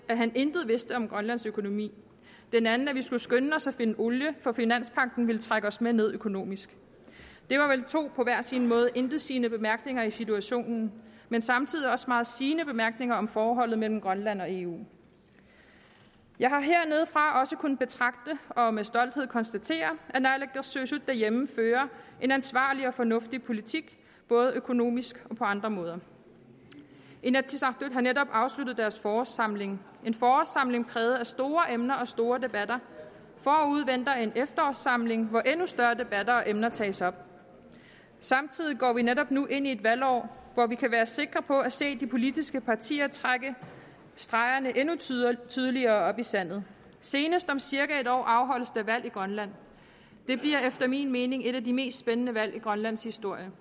at han intet vidste om grønlands økonomi den anden at vi skulle skynde os at finde olie for finanspagten ville trække os med ned økonomisk det var vel to på hver sin måde intetsigende bemærkninger i situationen men samtidig også to meget sigende bemærkninger om forholdet mellem grønland og eu jeg har hernedefra også kunnet betragte og med stolthed konstatere at naalakkersuisut derhjemme fører en ansvarlig og fornuftig politik både økonomisk og på andre måder inatsisartut har netop afsluttet deres forårssamling en forårssamling præget af store emner og store debatter forude venter en efterårssamling hvor endnu større debatter og emner tages op samtidig går vi netop nu ind i et valgår hvor vi kan være sikre på at se de politiske partier trække stregerne endnu tydeligere tydeligere op i sandet senest om cirka et år afholdes der valg i grønland det bliver efter min mening et af de mest spændende valg i grønlands historie